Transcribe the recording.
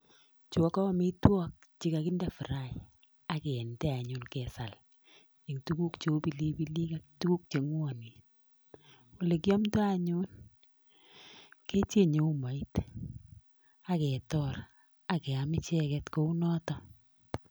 Chu ko amitwogik che kagideepfraen ak kinde anyun kesal en tuguk cheu pilipilik tuguk che ng'wonen. Ole kiamdo anyun kecheng'e umoit ak ketor ak keam icheget kounoto.